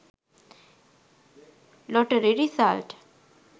lottery result